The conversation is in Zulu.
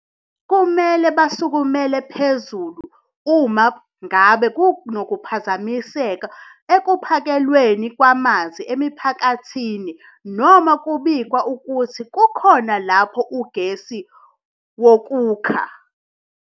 Kumele basukumele phezulu uma ngabe kunokuphazamiseka ekuphakelweni kwamanzi emiphakathini noma kubikwa ukuthi kukhona lapho ugesi wokukha.